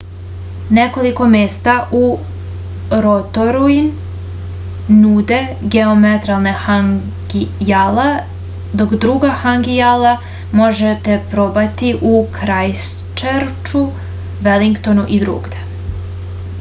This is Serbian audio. nekoliko mesta u rotorui nude geotermalna hangi jela dok druga hangi jela možete probati u krajstčerču velingtonu i drugde